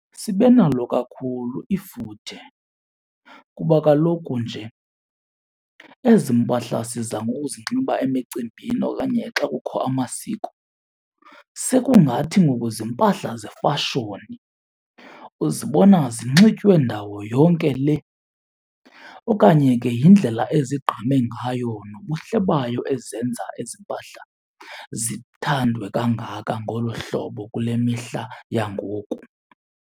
Sibe nalo kakhulu ifuthe, kuba kaloku nje ezi mpahla siza ngokuzinxiba emicimbini okanye xa kukho amasiko sekungathi ngoku ziimpahla zefashoni, uzibona zinxitywe ndawo yonke le. Okanye ke yindlela ezigqame ngayo nobuhle bayo ezenza ezi mpahla zithandwe kangaka ngolu hlobo kule mihla yangoku.